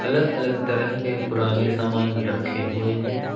अलग अलग तरह के पुराने सामान रखें हुए हैं।